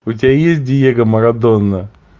у тебя есть диего марадона